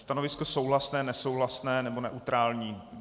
Stanovisko souhlasné, nesouhlasné nebo neutrální.